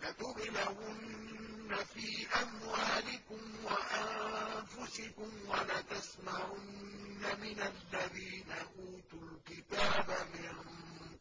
۞ لَتُبْلَوُنَّ فِي أَمْوَالِكُمْ وَأَنفُسِكُمْ وَلَتَسْمَعُنَّ مِنَ الَّذِينَ أُوتُوا الْكِتَابَ مِن